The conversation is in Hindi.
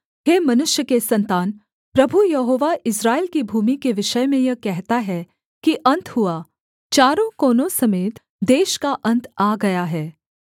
हे मनुष्य के सन्तान प्रभु यहोवा इस्राएल की भूमि के विषय में यह कहता है कि अन्त हुआ चारों कोनों समेत देश का अन्त आ गया है